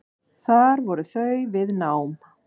Þar voru þau við nám.